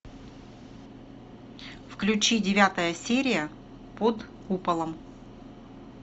включи девятая серия под куполом